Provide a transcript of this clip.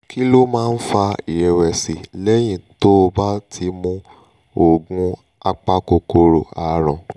kí ló máa ń fa ìrẹ̀wẹ̀sì lẹ́yìn tó o bá ti mu oògùn apakòkòrò àrùn?